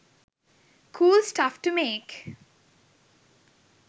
cool stuff to make